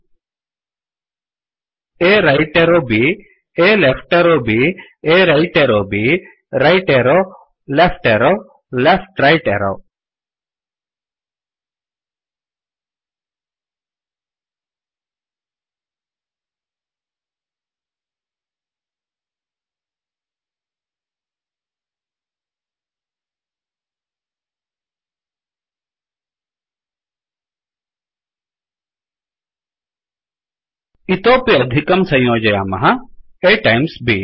A right arrowरैट् arrow B A left arrowलेफ्ट् arrow B A right arrow right एरौB right arrowरैट् arrow left arrowलेफ्ट् एरौ लेफ्ट राइट arrowलेफ्ट् रैट् एरौ इतोपि अधिकं संयोजयामः A timesटैम्स् ब्